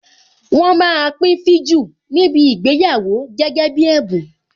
Wọn máa pín viju níbi ìgbéyàwó gẹ́gẹ́ bí ẹ̀bùn.